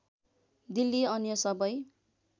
दिल्ली अन्य सबै